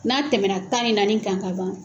N'a tɛmɛna tan ni naani kan kaban.